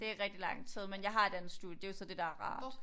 Det er rigtig lang tid men jeg har et andet studie det jo så det der er rart